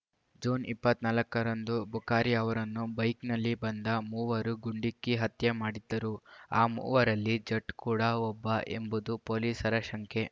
June ಇಪ್ಪತ್ತ್ ನಾಲ್ಕ ರಂದು ಬುಖಾರಿ ಅವರನ್ನು ಬೈಕ್‌ನಲ್ಲಿ ಬಂದ ಮೂವರು ಗುಂಡಿಕ್ಕಿ ಹತ್ಯೆ ಮಾಡಿದ್ದರು ಆ ಮೂವರಲ್ಲಿ ಜಟ್‌ ಕೂಡ ಒಬ್ಬ ಎಂಬುದು ಪೊಲೀಸರ ಶಂಕೆ